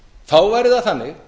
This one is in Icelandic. þá væri það þannig